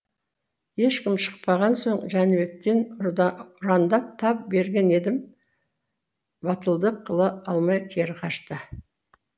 ешкім шықпаған соң жәнібектеп ұрандап тап берген едім батылдық қыла алмай кері қашты